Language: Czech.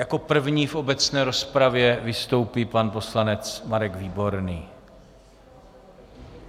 Jako první v obecné rozpravě vystoupí pan poslanec Marek Výborný.